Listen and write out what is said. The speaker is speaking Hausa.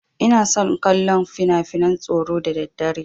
Ina son kallon finafinan tsoro da daddare.